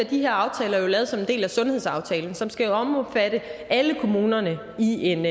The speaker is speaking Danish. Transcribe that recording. de her aftaler jo lavet som en del af sundhedsaftalen som skal omfatte alle kommunerne i en